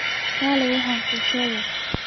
Kaalay aan wax kuu sheego